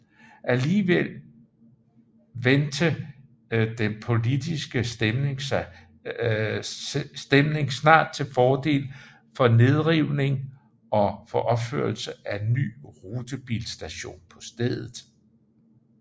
Alligevel vente den politiske stemning snart til fordel for nedrivning og for opførelse af en ny rutebilstation på stedet